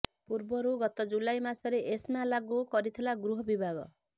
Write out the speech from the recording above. ପୂର୍ବରୁ ଗତ ଜୁଲାଇ ମାସରେ ଏସ୍ମା ଲାଗୁ କରିଥିଲା ଗୃହ ବିଭାଗ